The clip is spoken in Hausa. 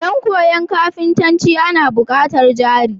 Dan koyan kafintanci Ana bukatar jari